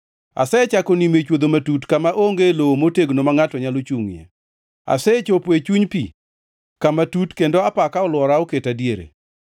Asechako nimo e chwodho matut, kama onge lowo motegno ma ngʼato nyalo chungʼie. Asechopo e chuny pi kama tut, kendo apaka olwora oketa diere.